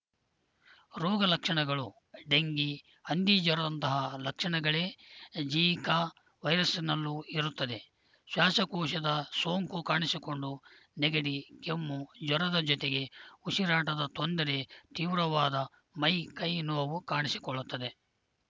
ರೋಗ ಲಕ್ಷಣಗಳು ಡೆಂಘಿ ಹಂದಿ ಜ್ವರದಂತಹ ಲಕ್ಷಣಗಳೇ ಜೀಕಾ ವೈರಸ್‌ನಲ್ಲೂ ಇರುತ್ತವೆ ಶ್ವಾಸಕೋಶದ ಸೋಂಕು ಕಾಣಿಸಿಕೊಂಡು ನೆಗಡಿ ಕೆಮ್ಮು ಜ್ವರದ ಜೊತೆಗೆ ಉಸಿರಾಟದ ತೊಂದರೆ ತೀವ್ರವಾದ ಮೈಕೈ ನೋವು ಕಾಣಿಸಿಕೊಳ್ಳುತ್ತದೆ